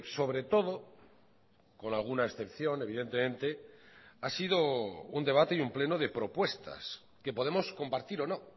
sobre todo con alguna excepción evidentemente ha sido un debate y un pleno de propuestas que podemos compartir o no